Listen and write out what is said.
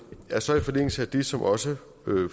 er så i forlængelse af det som også